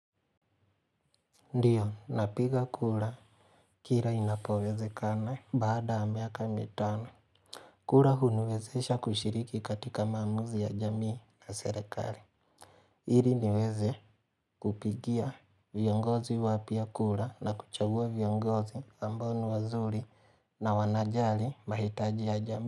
Ndio napiga kura kila inapowezekana baada ya miaka mitano kura huniwezesha kushiriki katika maamuzi ya jamii na serekali ili niweze kupigia viongozi wapya kura na kuchagua viongozi amboa ni wazuri na wanajali mahitaji ya jamii.